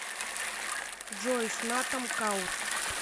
джой снатам каур